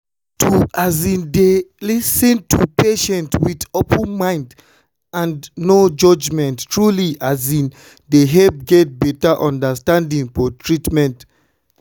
to um dey lis ten to patients with open mind and no judgment truly um dey help get better understanding for hospital.